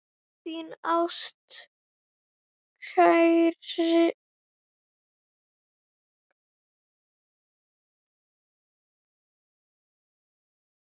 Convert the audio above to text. Þín ástkær dóttir, Hildur.